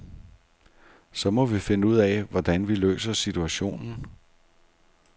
Så må vi finde ud af, hvordan vi løser situationen.